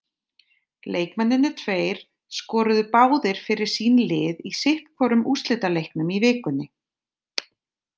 Leikmennirnir tveir skoruðu báðir fyrir sín lið í sitthvorum undanúrslitaleiknum í vikunni.